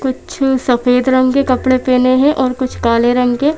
कुछ सफेद रंग के कपड़े पहने हैं और कुछ काले रंग के--